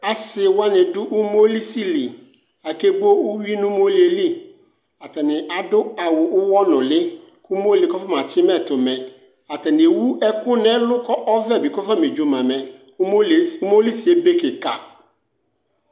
asiwani du umolisili akebo uwuinu umoli yɛli atani adu awu ʋhɔnʋli kʋ umoli kɔfamatsima ɛtʋmɛ atani ewu ɛkʋ nɛlʋ kɔvɛbi kafa medzomamɛ umolisiebe kika